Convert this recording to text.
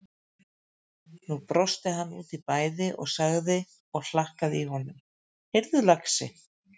Nú brosti hann út í bæði og sagði og hlakkaði í honum: Heyrðu lagsi!